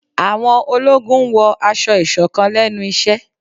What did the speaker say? Àwọn ológun n wọ aṣọ-isọ̀kán lẹnu iṣẹ